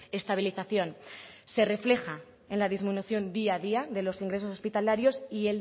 estabilización y se refleja en la disminución día a día de los ingresos hospitalarios y